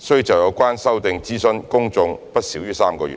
須就有關修訂諮詢公眾不少於3個月。